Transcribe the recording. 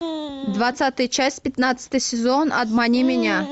двадцатая часть пятнадцатый сезон обмани меня